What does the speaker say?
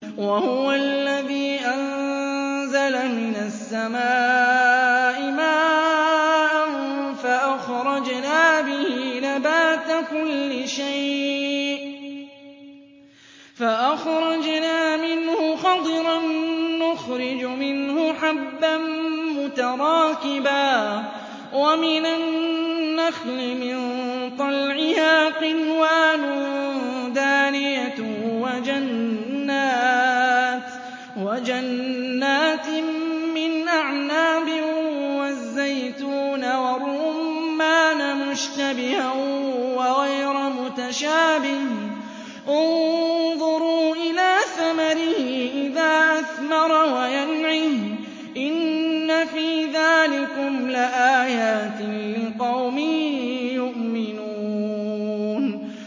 وَهُوَ الَّذِي أَنزَلَ مِنَ السَّمَاءِ مَاءً فَأَخْرَجْنَا بِهِ نَبَاتَ كُلِّ شَيْءٍ فَأَخْرَجْنَا مِنْهُ خَضِرًا نُّخْرِجُ مِنْهُ حَبًّا مُّتَرَاكِبًا وَمِنَ النَّخْلِ مِن طَلْعِهَا قِنْوَانٌ دَانِيَةٌ وَجَنَّاتٍ مِّنْ أَعْنَابٍ وَالزَّيْتُونَ وَالرُّمَّانَ مُشْتَبِهًا وَغَيْرَ مُتَشَابِهٍ ۗ انظُرُوا إِلَىٰ ثَمَرِهِ إِذَا أَثْمَرَ وَيَنْعِهِ ۚ إِنَّ فِي ذَٰلِكُمْ لَآيَاتٍ لِّقَوْمٍ يُؤْمِنُونَ